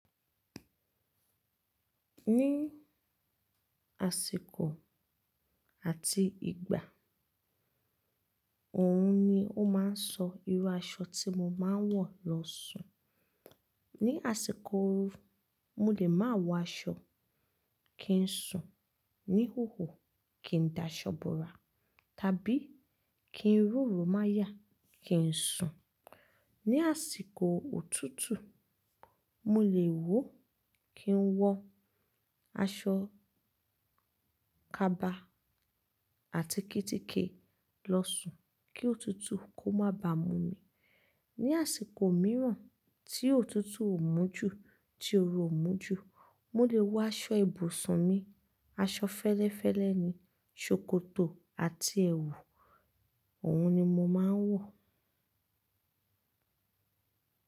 Ní àsìkò àti ìgbà, òhun ni ó máa ń sọ irú aṣọ tí mo máa ń wọ̀ lọ sùn. Ni àsìkò ooru, mo lè máa wọ aṣọ kín sùn, ní ìhòhò, kì í dà ṣọ́borà, tàbí kí ń roro máyà kí ń sùn. Ni àsìkò òtútù, mo lè wọ̀ kín ń wọ aṣọ kaba àti kítíkí lọ sùn kí òtútù kó má ba mú mi. Ni àsìkò mìíràn tí òtútù ò mú ju, tí oru ò mú ju, mo lè wọ aṣọ ibùsùn mi, aṣọ fẹ́lẹ́fẹ́lẹ́ ni, ṣòkòtò àti ẹwù, òhun ni mo máa ń wọ.